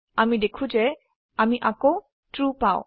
আমি দেখো যে আমি আকৌ ট্ৰু পাও